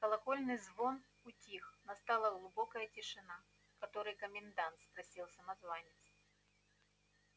колокольный звон утих настала глубокая тишина который комендант спросил самозванец